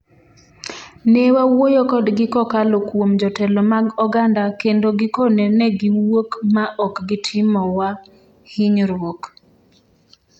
"Ne wawuoyo kodgi kokalo kuom jotelo mag oganda kendo gikone negiwuok ma ok gitimowa hinyruok."